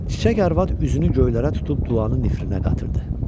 Çiçək arvad üzünü göylərə tutub duanı nifrinə qatırdı.